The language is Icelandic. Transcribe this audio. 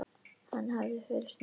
Hann hafði fylgst með